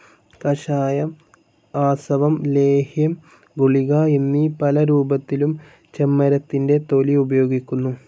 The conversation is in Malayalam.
കഷായം, ആസവം, ലേഹ്യം, ഗുളിക എന്നീ പലരൂപത്തിലും ചെമ്മരത്തിന്റെ തൊലി ഉപയോഗിക്കുന്നു.